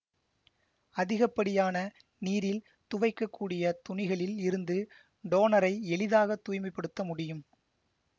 அதிகப்படியான நீரில்துவைக்கக்கூடிய துணிகளில் இருந்து டோனரை எளிதாக தூய்மை படுத்த முடியும்